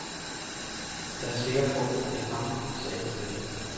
Jeg er sikker på, at det er ham, sagde han stille.